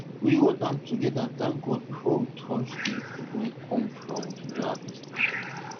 we hold hand together thank god before we touch the food wey come from the new harvest